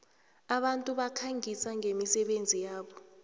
abantu bakhangisa ngemisebenzi yabo